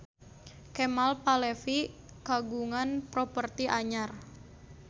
Kemal Palevi kagungan properti anyar